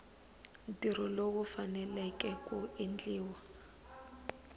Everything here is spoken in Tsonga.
ntirho lowu faneleke ku endliwa